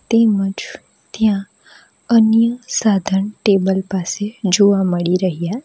તેમજ ત્યાં અન્ય સાધન ટેબલ પાસે જોવા મળી રહ્યા --